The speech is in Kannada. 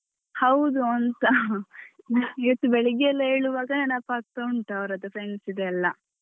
ಹೌದುಂತ ಇವತ್ತು ಬೆಳಿಗ್ಗೆಯೆಲ್ಲ ಏಳುವಾಗ ನೆನಪ್ ಆಗ್ತಾ ಉಂಟು ಅವರದ್ದು friends ದು ಎಲ್ಲ.